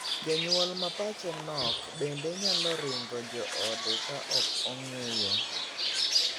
Janyuol ma pache nokbende nyalo ringo joode ka ok ong'eyo.